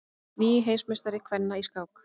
Nýr heimsmeistari kvenna í skák